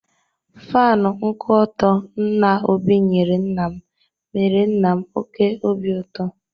Fanụ nkwụ ọtọ nna Obi nyere nna m mere nna m oke obi ụtọ.